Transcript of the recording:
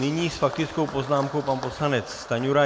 Nyní s faktickou poznámkou pan poslanec Stanjura.